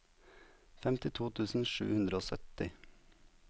femtito tusen sju hundre og sytti